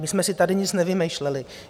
My jsme si tady nic nevymýšleli.